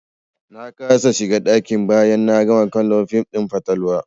Na kasa shiga ɗaki bayan na gama kallon fim ɗin fatalwa.